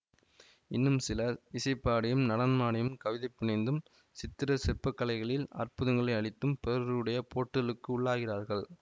இன்னும் சிலர் இசை பாடியும் நடனம் ஆடியும் கவிதை புனைந்தும் சித்திர சிற்பக்கலைகளில் அற்புதங்களை அளித்தும் பிறருடைய போற்றுலுக்கு உள்ளாகிறார்கள்